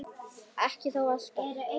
Ekki þó alltaf.